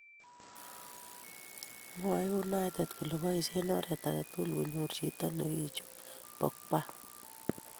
Mwaei United kole boisie oret age tugul konyor chito nekichub Pogba